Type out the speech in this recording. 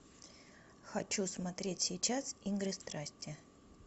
хочу смотреть сейчас игры страсти